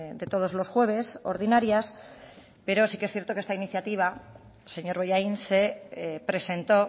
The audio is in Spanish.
de todos los jueves ordinarias pero sí que es cierto que esta iniciativa señor bollain se presentó